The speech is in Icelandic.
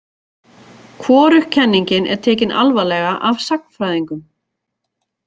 Hvorug kenningin er tekin alvarlega af sagnfræðingum.